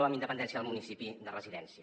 amb independència del municipi de residència